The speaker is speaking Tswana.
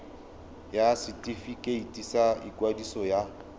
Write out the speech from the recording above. ya setefikeiti sa ikwadiso ya